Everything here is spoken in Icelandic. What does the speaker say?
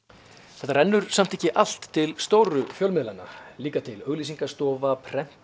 þetta rennur samt ekki allt til stóru fjölmiðlanna líka til auglýsingastofa prentsmiðja